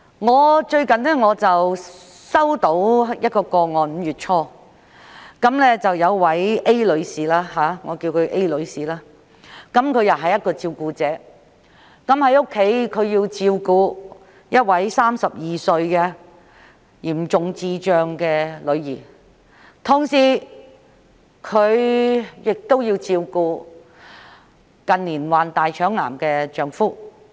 我在5月初接獲一宗個案，當中一位女士——我們稱她為 A 女士——是一名照顧者，在家除要照顧一名32歲嚴重智障女兒外，亦須同時照顧近年罹患大腸癌的丈夫。